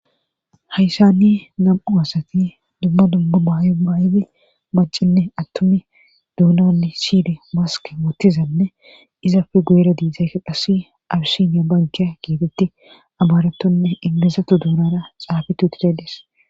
hayssani nam7u asati dumma dumma bayo baayidi macinne attumi duunanne shide waske wuottizanne izapfe guyera diizdzayka qassi abisiniya bankiya giitetti abaaretonne ingezato duunara xaafit utides